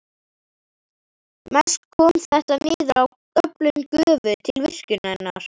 Mest kom þetta niður á öflun gufu til virkjunarinnar.